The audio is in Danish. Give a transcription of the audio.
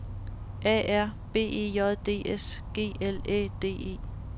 A R B E J D S G L Æ D E